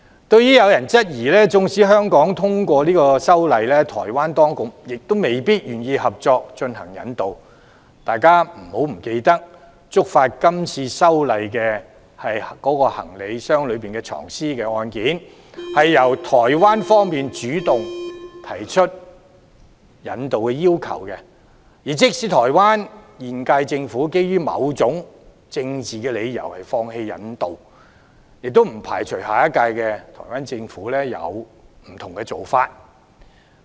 對於有人質疑，縱使香港通過修例，台灣當局亦未必願意接納，大家不要忘記，觸發今次修例的行李箱藏屍案件，是由台灣方面主動提出引渡要求，即使台灣現屆政府基於某種政治理由而放棄引渡，也不排除下一屆台灣政府會有不同的做法。